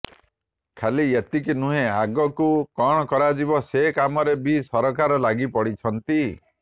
ଖାଲି ଏତିକି ନୁହେଁ ଆଗକୁ କଣ କରାଯିବ ସେ କାମରେ ବି ସରକାର ଲାଗି ପଡିଛନ୍ତି